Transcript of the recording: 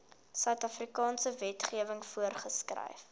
suidafrikaanse wetgewing voorgeskryf